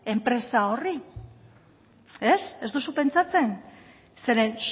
enpresa horri ez duzu pentsatzen zeren